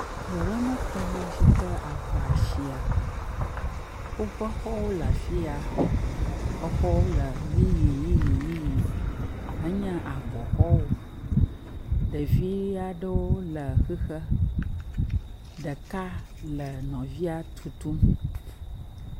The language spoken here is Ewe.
Du aɖemetɔwo si ke aŋa sia. Woƒe xɔwo le afi ya. Exɔwo le ʋiʋiʋi henye abɔ xɔwo. Ɖevia aɖewo le xixe. Ɖeka le nɔvia tutum.